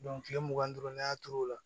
kile mugan ni duuru ne y'a turu o la